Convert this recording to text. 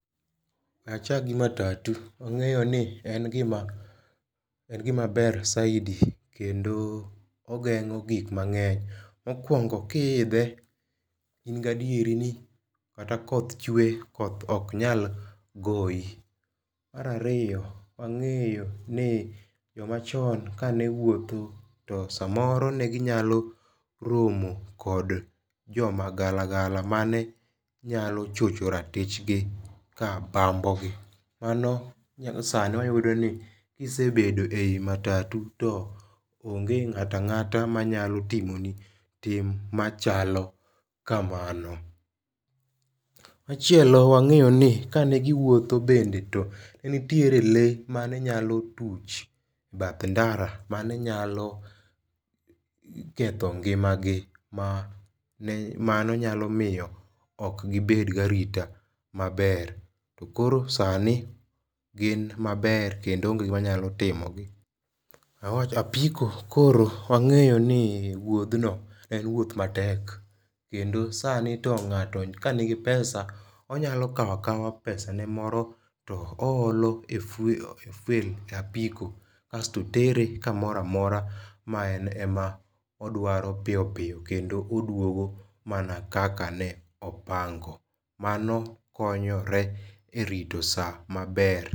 We achak gi matatu. Wang. eyo ni en gima ber saidi kendo ogeng'o gik mang'eny. Mokwongo ki idhe in gadieri ni kata koth chwe koth ok nyal goyi. Mar ariyo wang'eyo ni joma chon kane wuotho to samoro ne ginyalo romo kod joma galagala mane nyalo chocho ratich gi ka bambo gi. Mano sani wayudo ni kisebedo e yi matatu to onge ng.ato ang. ata manyalo timo ni tim machalo kamano. Machielo wang'eyo ni kane giwuotho bende netie lee manenyalo tuch bath ndara mane nyalo ketho ngima gi mano nyalo miyo ok gibet ga arita maber to koro sani gin maber kendo onge gima nyalo timogi. Apiko koro wang'eyo ni wuodh no en wuoth matek. Kendo sani to ng.ato kani gi pesa onyalo kaw akawa pesanemoro to o olo e fuel e apiko asto tere kamoro amora ma en ema odwaro piyo piyo kendo oduogo mana kaka ne opango. Mano konyore e rito sa maber.